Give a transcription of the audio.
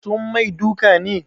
Sun mai duka ne?